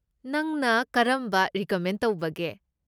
ꯅꯪꯅ ꯀꯔꯝꯕ ꯔꯤꯀꯃꯦꯟ ꯇꯧꯕꯒꯦ?